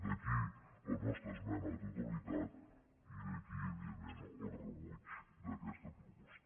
d’aquí la nostra esmena a la totalitat i d’aquí evidentment el rebuig a aquesta proposta